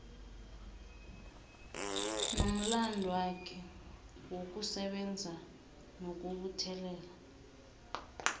nomlandwakhe wokusebenza nokubuthelela